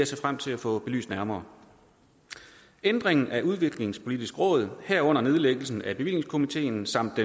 se frem til at få belyst nærmere ændringen af udviklingspolitisk råd herunder nedlæggelsen af bevillingskomiteen samt